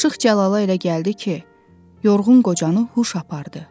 Aşıq Cəlala elə gəldi ki, yorğun qocanı huş apardı.